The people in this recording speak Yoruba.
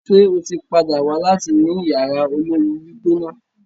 ṣe o tí pàdà wá láti ní Yàrá olóoru-gbígbóná.